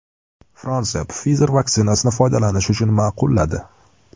Fransiya Pfizer vaksinasini foydalanish uchun ma’qulladi.